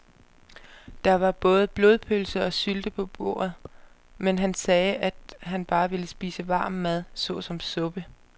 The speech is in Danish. Der var både blodpølse og sylte på bordet, men han sagde, at han bare ville spise varm mad såsom suppe.